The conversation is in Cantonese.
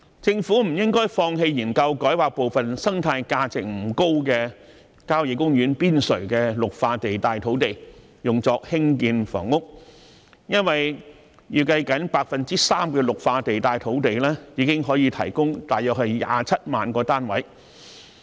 政府不應放棄研究把部分生態價值不高的郊野公園邊陲綠化地帶土地改劃作興建房屋，因為預計僅 3% 的綠化地帶土地已經可以提供約27萬個單位。